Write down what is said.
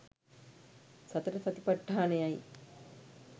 සතර සතිපට්ඨානයයි